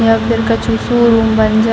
यहाँ पर कछु